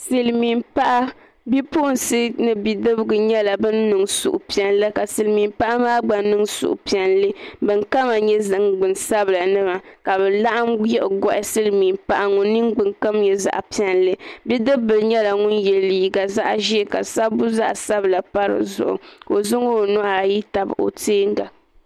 Silmiin paɣa bipuɣunsi ni bidibsi nyɛla bin niŋ suhupiɛlli ka silmiin paɣa maa gba niŋ suhupiɛlli bin kama nyɛ ningbuni sabila nima ka bi laɣam yiɣi gohi silmiin paɣa ŋun ningbuni kom nyɛ zaɣ piɛlli bidib bili nyɛla ŋun yɛ liiga zaɣ ʒiɛ ka sabbu zaɣ sabila pa dizuɣu ka o zaŋ o nuhi ayi tabi o teenga